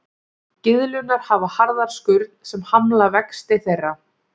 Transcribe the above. Gyðlurnar hafa harða skurn sem hamlar vexti þeirra.